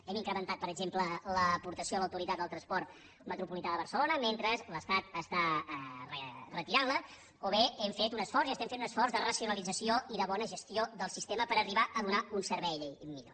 hem incrementat per exemple l’aportació a l’autoritat del transport metropolità de barcelona mentre l’estat la retira o bé hem fet un esforç i fem un esforç de racionalització i de bona gestió del sistema per arribar a donar un servei millor